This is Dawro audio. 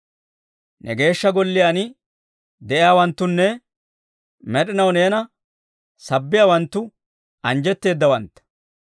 Ne Geeshsha Golliyaan de'iyaawanttunne med'inaw neena sabbiyaawanttu anjjetteedawantta.